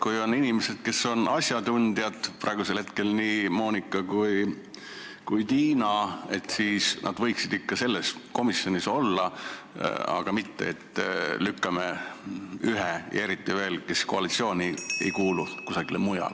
Kui on inimesed, kes on asjatundjad, praegu on need nii Monika kui ka Tiina, siis nad võiksid ikka selles komisjonis olla, mitte nii, et lükkame ühe ja eriti veel selle, kes koalitsiooni ei kuulu, kusagile mujale.